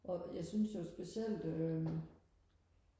og jeg synes jo specielt øhm